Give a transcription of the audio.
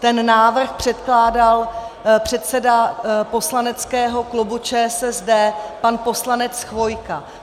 Ten návrh předkládal předseda poslaneckého klubu ČSSD pan poslanec Chvojka.